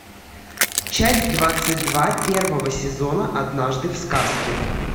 часть двадцать два первого сезона однажды в сказке